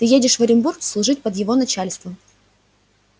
ты едешь в оренбург служить под его начальством